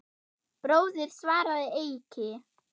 Bróðir, svaraði Eiki.